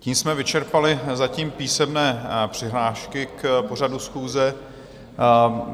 Tím jsme vyčerpali zatím písemné přihlášky k pořadu schůze.